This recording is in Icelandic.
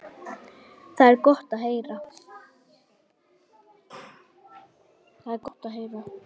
Það er gott að heyra.